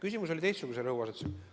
Küsimus oli teistsuguse rõhuasetusega.